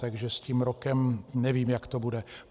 Takže s tím rokem nevím, jak to bude.